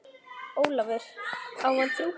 Ólafur, á hann þrjú börn.